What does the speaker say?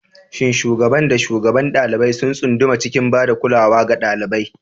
Shin shugaban da shugabar ɗalibai sun tsunduma cikin ba da kulawa ga ɗalibai?